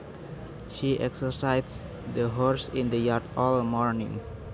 She exercised the horses in the yard all morning